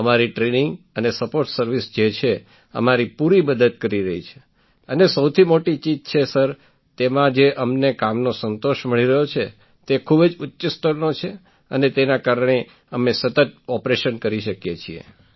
અમારી ટ્રેનિંગ અને support service જે છે અમારી પૂરી મદદ કરી રહી છે અને સૌથી મોટી ચીજ છે સર તેમાં જે અમને કામનો સંતોષ મળી રહ્યો છે તે ખૂબ જ ઉચ્ચ સ્તરનો છે અને તેના કારણે અમે સતત ઑપરેશન કરી શકીએ છીએ